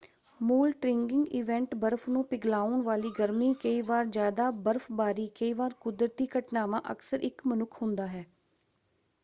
ਮੂਲ triggering event ਬਰਫ਼ ਨੂੰ ਪਿਘਲਾਉਣ ਵਾਲੀ ਗਰਮੀ ਕਈ ਵਾਰ ਜ਼ਿਆਦਾ ਬਰਫ਼ਬਾਰੀ ਕਈ ਵਾਰ ਕੁਦਰਤੀ ਘਟਨਾਵਾਂ ਅਕਸਰ ਇੱਕ ਮਨੁੱਖ ਹੁੰਦਾ ਹੈ।